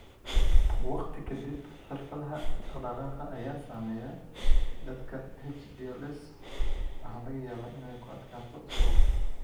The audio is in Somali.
Waqti ka dib, xirfadaha dhaqdhaqaaqa ayaa saameeya, dadka HDLS waxaa laga yaabaa inay ku adkaato socodka.